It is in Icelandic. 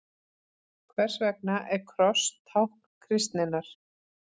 Hvers vegna er kross tákn kristninnar?